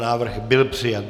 Návrh byl přijat.